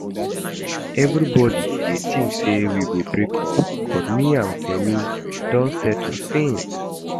Everybody dey think say we go break up but me and Femi don settle since